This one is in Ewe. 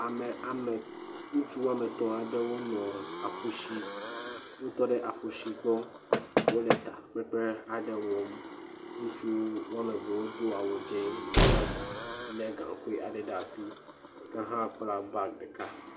Ame ame ŋutsu wɔme etɔ̃ aɖe wotɔ ɖe aƒu to. Wotɔ ɖe akusi gbɔ wole takpekpe aɖe wɔm. Ŋutsu wɔme eve wodo awu dzi. Ɖeka le gaŋkui ɖe asi, ɖeka hã kpla bagi.